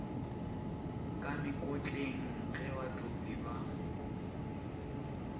ka mekotleng ge batopi ba